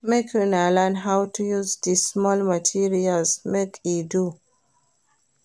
Make una learn how to use di small material make e do.